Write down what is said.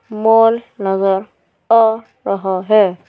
mall नजर --